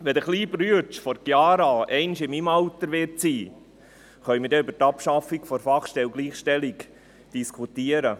Wenn der kleine Bruder von Chiara dereinst in meinem Alter sein wird, können wir über die Abschaffung der Fachstelle für Gleichstellung diskutieren.